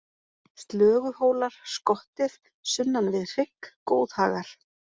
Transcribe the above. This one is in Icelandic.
Slöguhólar, Skottið, Sunnan við hrygg, Góðhagar